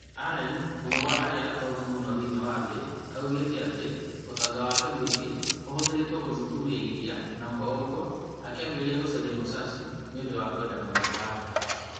Allen, ũmwe wa andũ arĩa atongu mũno thĩinĩ wa thĩ, oigĩte atĩ ũtonga wake mũingĩ ũhũthĩrĩtwo gũthuthuria iria na kwoguo akĩambĩrĩria gũcaria Musashi nĩ ũndũ wa kwenda mũno mbaara.